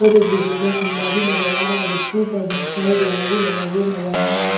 और एक बिजली का खंभा भी नजर आ रहा है जिसके ऊपर बहोत सारा जाला भी लगा हुआ नजर आ रहा है।